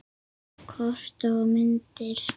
Kort og myndir